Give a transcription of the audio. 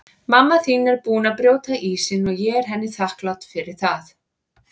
Mamma þín er búin að brjóta ísinn og ég er henni þakklát fyrir það.